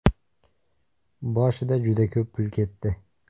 Boshida juda ko‘p pul ketdi.